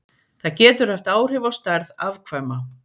Það getur haft áhrif á stærð afkvæma.